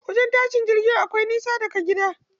Wajen tashin jirgi akwai nisa daga gida.